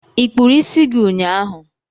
ịkpuru isi gị ụnyaahụ?